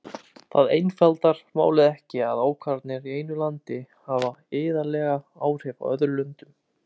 Það einfaldar málið ekki að ákvarðanir í einu landi hafa iðulega áhrif í öðrum löndum.